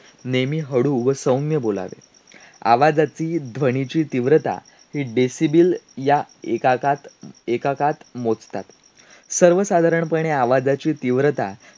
की त्या पुस्तकाच्या वेळी अधिक उत्कट अनुभूती देत राहतात अशा वाचनाची नशा or असते.